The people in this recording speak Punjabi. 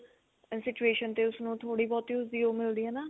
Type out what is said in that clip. situation ਤੇ ਉਸਨੂੰ ਥੋੜੀ ਬਹੁਤੀ ਉਹ ਮਿਲਦੀ ਆ ਨਾ